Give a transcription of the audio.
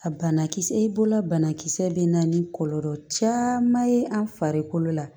A banakisɛ i bolo banakisɛ bɛ na ni kɔlɔlɔ caman ye an farikolo la